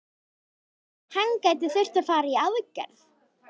Hann gæti þurft að fara í aðgerð.